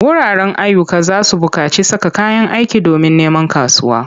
Wuraren ayyuka za su buƙaci saka kayan aiki domin neman kasuwa.